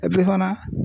fana